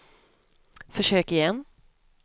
försök igen